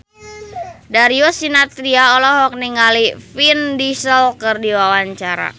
Darius Sinathrya olohok ningali Vin Diesel keur diwawancara